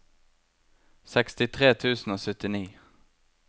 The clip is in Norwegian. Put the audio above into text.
sekstitre tusen og syttini